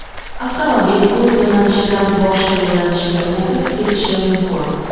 avtomobil o‘z yo‘nalishidan boshqa yo‘nalishga o‘tib ketishi mumkin.